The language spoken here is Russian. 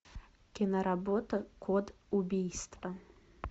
киноработа код убийства